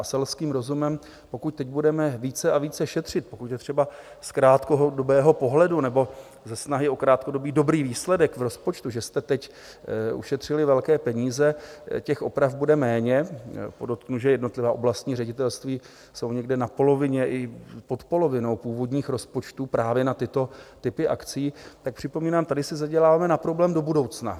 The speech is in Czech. A selským rozumem, pokud teď budeme více a více šetřit, pokud je třeba z krátkodobého pohledu nebo ze snahy o krátkodobý dobrý výsledek v rozpočtu, že jste teď ušetřili velké peníze, těch oprav bude méně - podotknu, že jednotlivá oblastní ředitelství jsou někde na polovině i pod polovinou původních rozpočtů právě na tyto typy akcí - tak připomínám, tady si zaděláváme na problém do budoucna.